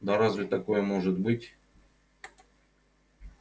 да разве такое может быть